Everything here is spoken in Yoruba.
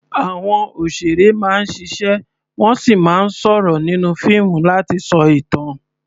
Àwọn òṣèré máa ń ṣiṣẹ́ wọ́n sì máa ń sọ̀rọ̀ nínú fíìmù láti sọ ìtàn.